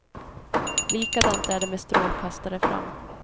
Likadant är det med strålkastare fram.